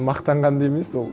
мақтанған да емес ол